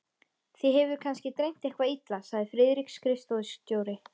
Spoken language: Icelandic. Þig hefur kannski dreymt eitthvað illa, sagði Friðrik skrifstofustjóri.